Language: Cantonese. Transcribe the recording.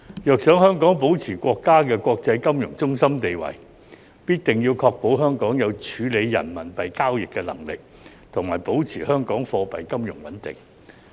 若想香港保持國家的國際金融中心的地位，必定要確保香港有處理人民幣交易的能力，以及保持香港貨幣金融穩定。